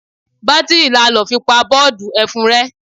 Batiri la lọ fi pa boodu ẹfun rẹ.